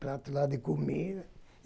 Prato lá de comida.